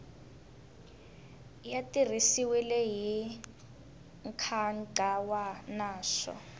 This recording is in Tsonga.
ya tirhisiwile hi nkhaqato naswona